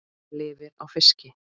Lifir á fiski.